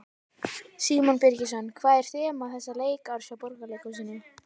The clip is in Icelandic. Símon Birgisson: Hvað er þema þessa leikárs hjá Borgarleikhúsinu?